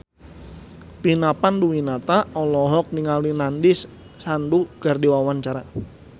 Vina Panduwinata olohok ningali Nandish Sandhu keur diwawancara